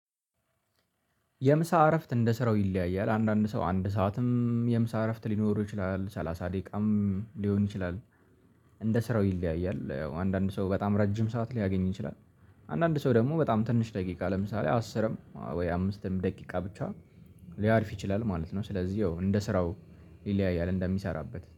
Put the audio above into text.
የምሳ እረፍት እንደሰራው ይለያያል አንዳንድ ሰው አንድ ሰዓትም የምሳ እረፍት ሊኖሩ ይችላል ሰላሳ ደቂቃም ሊሆን ይችላል። እንደ ስራው ይለያያል አንዳንድ ሰው በጣም ረጅም ሰዓት ሊያገኝ ይችላል። አንዳንድ ሰው ደግሞ በጣም ትንሽ ደቂቃ ለምሳሌ አስርም ወይ አምስትም ደቂቃ ብቻ ሊያርፍ ይችላል ማለት ነው። ስለዚህ ያው እንደ ስራው ይለያያል እንደሚሰራበት